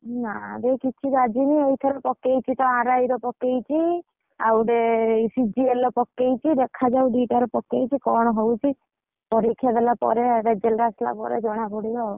ନାଁ ରେ, କିଛି ବାଜିନି ଏଇଥର, RI ରେ, ପକେଇଛି। ଆଉ ଗୋଟେ CGL ରେ ପକେଇଛି। ଦିଟା ରେ ପକେଇଛି ଦେଖାଯାଉ କଣ ହଉଛି? ପରୀକ୍ଷା ହେଲା ପରେ result ଆସିଲା ପରେ ଜଣାପଡିବ ଆଉ।